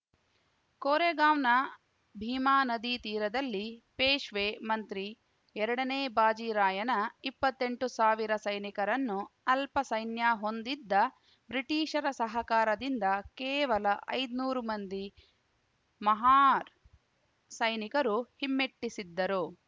ಕೊರೆಂಗಾವ್‌ನ ಭೀಮಾ ನದಿ ತೀರದಲ್ಲಿ ಪೇಶ್ವೆ ಮಂತ್ರಿ ಎರಡನೇ ಭಾಜಿರಾಯನ ಇಪ್ಪತ್ತೆಂಟು ಸಾವಿರ ಸೈನಿಕರನ್ನು ಅಲ್ಪ ಸೈನ್ಯ ಹೊಂದಿದ್ದ ಬ್ರಿಟಿಷರ ಸಹಕಾರದಿಂದ ಕೇವಲ ಐದ್ ನೂರು ಮಂದಿ ಮಹಾರ್‌ ಸೈನಿಕರು ಹಿಮ್ಮೆಟ್ಟಿಸಿದ್ದರು